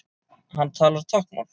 Hann talar táknmál.